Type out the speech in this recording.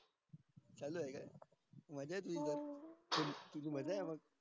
चालू ये का मज्जा ये तुझी त तुझी मज्जा ये मंग